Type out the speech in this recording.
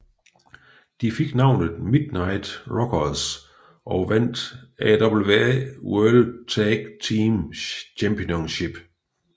De fik navnet Midnight Rockers og vandt AWA World Tag Team Championship